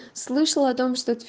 слышала о том